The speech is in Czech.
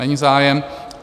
Není zájem.